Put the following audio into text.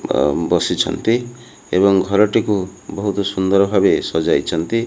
ବସିଛନ୍ତି ଏବଂ ଘରଟିକୁ ବହୁତ ସୁନ୍ଦରଭବେ ସଜାଇଛନ୍ତି।